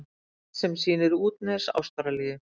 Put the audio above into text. Kort sem sýnir útnes Ástralíu.